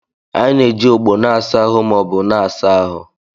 Anyị na-eji ogbo na-asa ahụ ma ọ bụ na-asa ahụ.